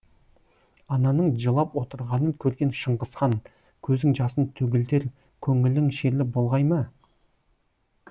ананың жылап отырғанын көрген шыңғысхан көзің жасын төгілтер көңілің шерлі болғай ма